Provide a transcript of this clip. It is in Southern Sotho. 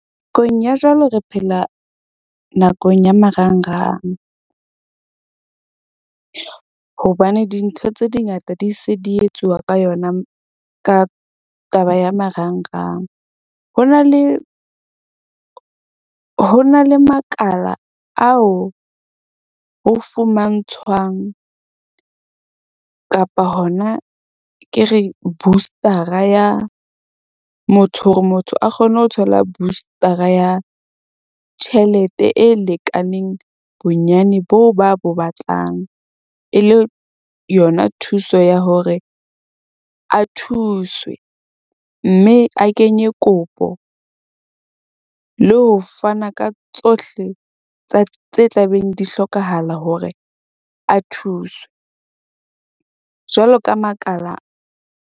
Ya jwale re phela nakong ya marangrang , hobane dintho tse di ngata di se di etsuwa ka yona ka taba ya marangrang. Ho na le makala ao ho fumantshwang kapa hona ke re booster-a ya motho hore motho a kgone ho thola booster-a ya tjhelete, e lekaneng. Bonyane boo ba a bo batlang e le yona thuso ya hore a thuswe mme a kenye kopo le ho fana ka tsohle tsa tse tla beng di hlokahala hore a thuswe, jwalo ka makala.